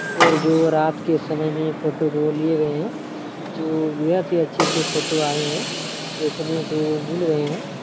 और जो रात के समय में फोटो वो लिए गए हैं जो बहुत ही अच्छे से फोटो आए है देखने को मिल रहे हैं।